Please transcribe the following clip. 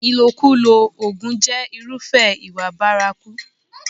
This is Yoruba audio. Ìlòkulò oògùn jẹ́ irúfẹ́ ìwà bárakú.